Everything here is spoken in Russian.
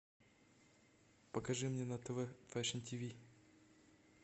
покажи мне на тв фэшн тв